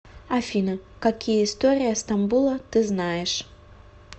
афина какие история стамбула ты знаешь